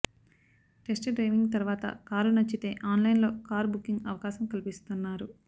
test driving తర్వాత car నచ్చితే online లో కార్ బుకింగ్ అవకాశం కల్పిస్తున్నారు